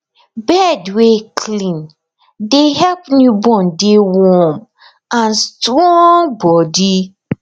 bed wer clean dey help newborn dey warm and strong body